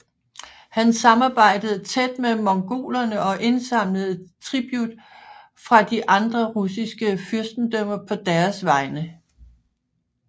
Han samarbejdede tæt med mongolerne og indsamlede tribut fra de andre russiske fyrstendømmer på deres vegne